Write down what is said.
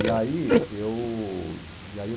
E aí eu e aí eu